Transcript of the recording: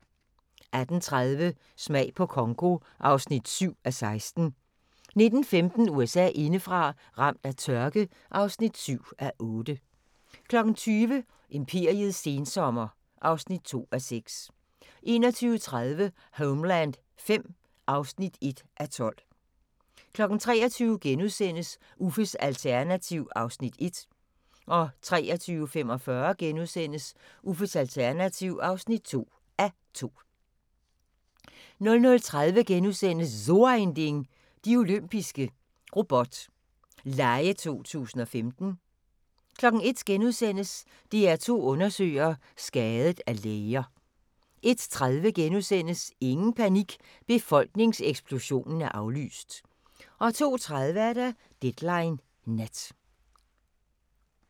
18:30: Smag på Congo (7:16) 19:15: USA indefra: Ramt af tørke (7:8) 20:00: Imperiets sensommer (2:6) 21:30: Homeland V (1:12) 23:00: Uffes alternativ (1:2)* 23:45: Uffes alternativ (2:2)* 00:30: So ein Ding: De Olympiske Robot Lege 2015 * 01:00: DR2 Undersøger: Skadet af læger * 01:30: Ingen panik – befolkningseksplosionen er aflyst! * 02:30: Deadline Nat